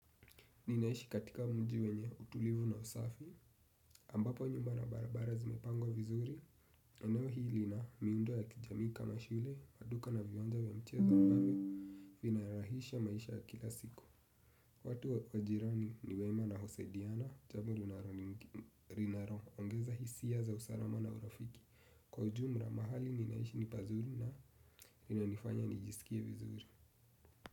Ninaishi katika mji wenye, utulivu na usafi. Ambapo nyumba na barabara zimepangwa vizuri. Eneo hii lina, miundo ya kijamii kama mashule, maduka na viwanja vya mchezo ambavyo, vinarahihisha maisha ya kila siku. Watu wa majirani ni wema na husadiana, jambo linaloongeza hisia za usalama na urafiki. Kwa ujumla, mahali ninaishi ni pazuri na linanifanya nijisikie vizuri.